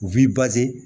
U b'i